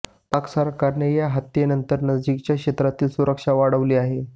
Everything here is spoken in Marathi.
पाक सरकारने या हत्येनंतर नजीकच्या क्षेत्रातील सुरक्षा वाढविली आहे